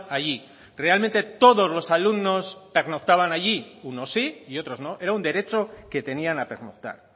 allí realmente todos los alumnos pernoctaban allí unos sí y otros no era un derecho que tenían a pernoctar